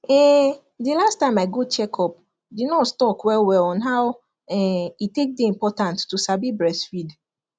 ehnnnthe last time i go check upthe nurse talk well well on how um e take day important to sabi breastfeed